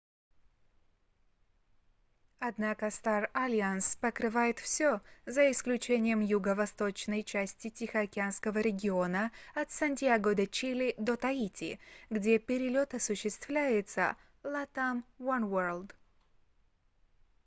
однако star alliance покрывает все за исключением юго-восточной части тихоокеанского региона от сантьяго-де-чили до таити где перелет осуществляется latam oneworld